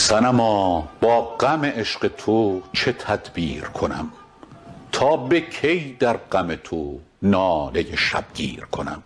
صنما با غم عشق تو چه تدبیر کنم تا به کی در غم تو ناله شبگیر کنم